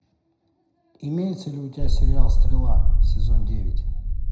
имеется ли у тебя сериал стрела сезон девять